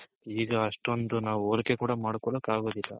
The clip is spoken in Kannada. ಈಗ ಅಷ್ಟೊಂದ್ ನಾವ್ ಹೋಲಿಕೆ ಕೂಡ ಮಾಡ್ಕೊಳಕ್ ಆಗೋದಿಲ್ಲ.